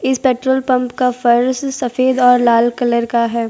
इस petrol pump का फर्श सफेद और लाल कलर का है।